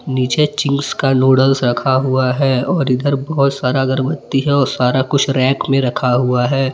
नीचे चिंग्स का नूडल्स रखा हुआ है। और इधर बहुत सारा अगरबत्ती है और सारा कुछ रैक में रखा हुआ है।